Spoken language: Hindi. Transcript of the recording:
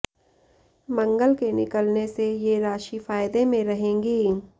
मंगल के निकलने से ये राशि फायदे में रहेगी